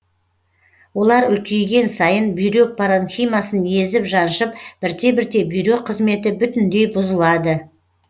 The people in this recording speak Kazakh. олар үлкейген сайын бүйрек паранхимасын езіп жаншып бірте бірте бүйрек қызметі бүтіндей бұзылады